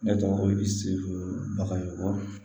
Ne tɔgɔ ko idi bagayogo